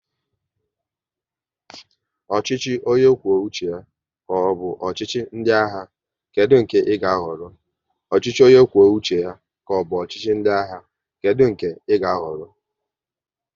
Ọchịchị onye kwuo uche ya ka ọ bụ ọchịchị ndị agha, kedụ nke ị ga ahọrọ?